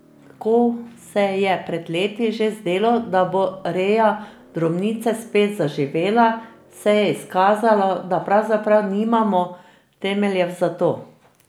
Ko se je pred leti že zdelo, da bo reja drobnice spet zaživela, se je izkazalo, da pravzaprav nimamo temeljev za to.